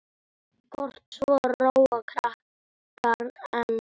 Kort svo róa krakkar enn.